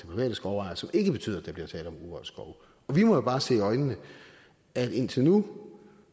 private skovejere som ikke betyder at der bliver tale om urørt skov vi må jo bare se i øjnene at indtil nu